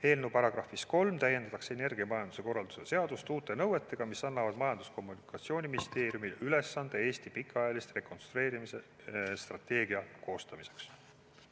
Eelnõu §-s 3 täiendatakse energiamajanduse korralduse seadust uute nõuetega, mis annavad Majandus- ja Kommunikatsiooniministeeriumile ülesande Eesti pikaajalise rekonstrueerimisstrateegia koostamiseks.